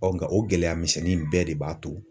nka o gɛlɛyamisɛnnin bɛɛ de b'a to.